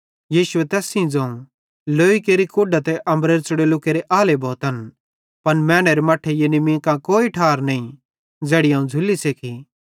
यीशुए तैस सेइं ज़ोवं लौई केरि कूढां ते अम्बरेरे च़ुड़ोल्लू केरे आले भोतन पन मैनेरे मट्ठे यानी मीं कां कोई ठार नईं ज़ैड़ी अवं झ़ुल्ली सेक्खी